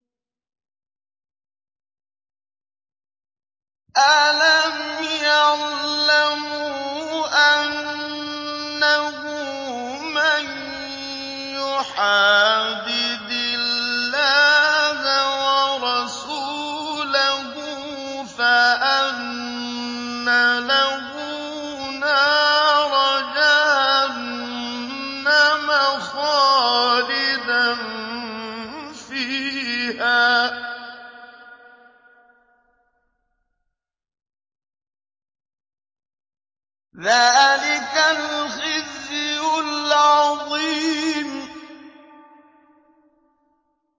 أَلَمْ يَعْلَمُوا أَنَّهُ مَن يُحَادِدِ اللَّهَ وَرَسُولَهُ فَأَنَّ لَهُ نَارَ جَهَنَّمَ خَالِدًا فِيهَا ۚ ذَٰلِكَ الْخِزْيُ الْعَظِيمُ